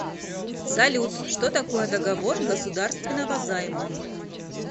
салют что такое договор государственного займа